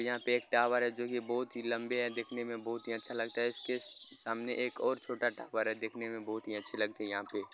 यहाँ पे एक टावर है जो की बोहोत लंबे हैं देखने में बोहोत ही अच्छा लगता है इसके सामने एक और छोटा टावर है देखने में बोहोत ही अच्छी लगते हैं यहाँ पे --